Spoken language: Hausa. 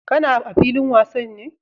Ka na a filin wasa ne?